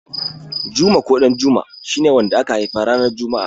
Juma ko Ɗanjuma shi ne wanda aka haifa ranar juma'a.